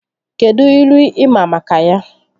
Kedụ ilu ị maa maka ya?